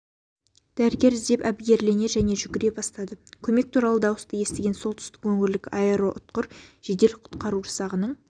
дәрігер іздеп әбігерлене және жүгіре бастады көмек туралы дауысты естіген солтүстік өңірлік аэроұтқыр жедел-құтқару жасағының